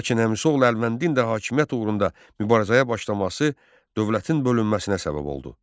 Lakin əmisi oğlu Əlvəndin də hakimiyyət uğrunda mübarizəyə başlaması dövlətin bölünməsinə səbəb oldu.